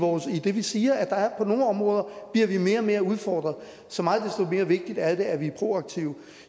også idet vi siger at vi på nogle områder bliver mere og mere udfordret så meget desto mere vigtigt er det at vi er proaktive